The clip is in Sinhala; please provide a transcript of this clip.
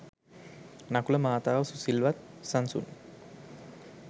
නකුල මාතාව සුසිල්වත්, සන්සුන්